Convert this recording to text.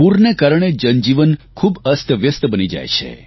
પૂરના કારણે જનજીવન ખૂબ અસ્તવ્યસ્ત બની જાય છે